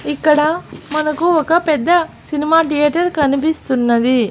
ఇక్కడ మనకు ఒక పెద్ద సినిమా థియేటర్ కనిపిస్తున్నది.